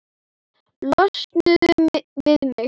Losnuðu við mig!